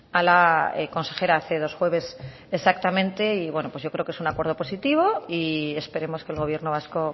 a la consejera hace dos jueves exactamente y yo creo que es un acuerdo positivo y esperemos que el gobierno vasco